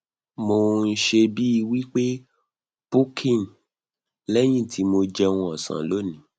mo n se bii wi pe puking lẹyìn tí mo jẹun osan loni